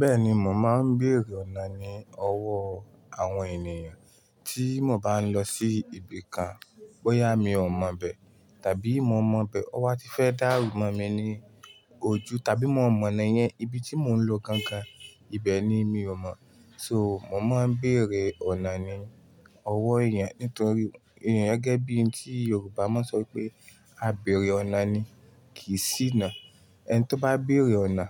Bẹ́ẹ̀ni, mò maa ń béèrè ọ̀nà ní ọwọ́ àwọn ènìyàn tí mò bá ń lọ sí ibi kan, bóyá mi ò mọ̀ ibẹ́ tàbí mo mọ̀ bẹ́. To ba ti fẹ́ dáàru mọ́ mi ní ojú tàbí mo mọ̀nà yẹn ibi tí mò ń lọ gangan, ibẹ̀ ni mi ò mọ̀. So mò máa ń béèrè ọ̀nà ní ọwọ́ èèyàn nítorí èèyàn gẹ́gẹ́ bí èyí tí Yorùbá máa ń sọ pé "A bèèrè ọ̀nà ni kì ṣíná". Ẹni tí ó bá bèèrè ọ̀nà